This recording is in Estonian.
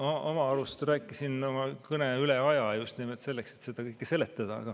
Ma oma arust rääkisin oma kõne ajast üle just nimelt selleks, et seda kõike seletada.